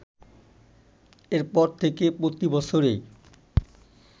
এরপর থেকে প্রতি বছরই